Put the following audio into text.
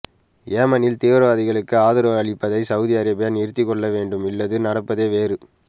ஏமனில் தீவிரவாதிகளுக்கு ஆதரவு அளிப்பதை சவுதி அரேபியா நிறுத்திக்கொள்ள வேண்டும் இல்லது நடப்பதே வேறு